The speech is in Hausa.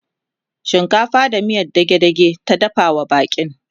shinkafa da miyan dage dage ta dafawa baƙin